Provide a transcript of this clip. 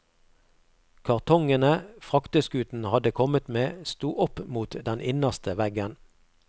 Kartongene frakteskuten hadde kommet med, sto opp mot den innerste veggen.